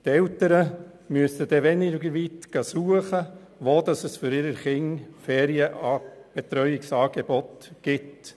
Die Eltern müssen weniger weit suchen, wo es für ihre Kinder Ferienbetreuungsangebote gibt.